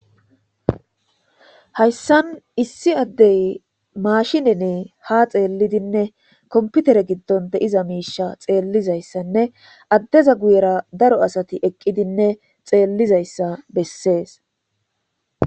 Hayisani issi addey mashineni ha xeelidinne komipitere giddoni diza misha xeelizayisanne adeza guyera daro asati eqidinne xeelizayisa beesesi